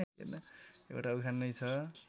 एउटा उखान नै छ